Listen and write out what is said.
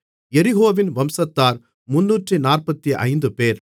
எரிகோவின் வம்சத்தார் 345 பேர்